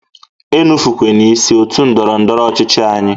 E nufukwene isi otu ndọrọ ndọrọ ọchịchị anyị!